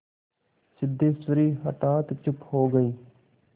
सिद्धेश्वरी हठात चुप हो गई